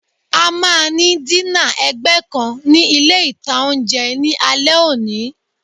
A máa ní dínà ẹ̀gbẹ́ kan ní ilé-ìtánjẹ ní alé òní